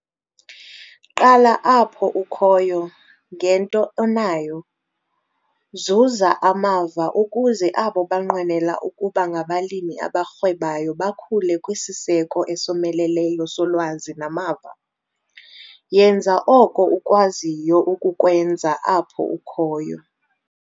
Qala apho ukhoyo, ngento onayo - zuza amava ukuze abo banqwenela ukuba ngabalimi abarhwebayo bakhule kwisiseko esomeleleyo solwazi namava. Yenza oko ukwaziyo ukukwenza apho ukhoyo!